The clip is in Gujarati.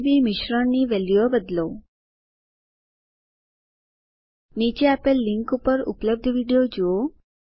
આરજીબી મિશ્રણની વેલ્યુઓ બદલો નીચે આપેલ લીનક ઉપર ઉપલબ્ધ વિડીઓ જુઓ